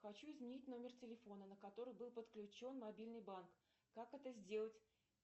хочу изменить номер телефона на который был подключен мобильный банк как это сделать